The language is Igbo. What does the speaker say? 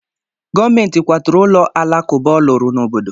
Gọọmentị kwaturu ụlọ alakụba ọ lụrụ n'obodo.